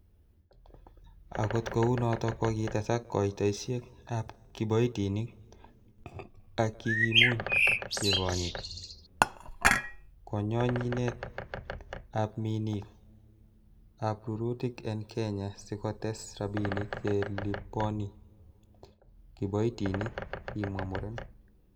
'Akot kounoton kokitesak koitosiek ab kiboitinik, ak kikimuch kekonyit konyonyinet ak minik ab rurutik en kenya sikotes rabinik che liponi kiboitinik,''kimwa muren.